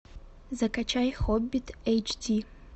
закачай хоббит эйч ди